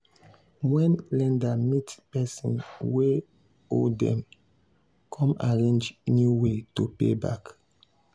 when lender meet person wey owe dem come arrange new way to pay back.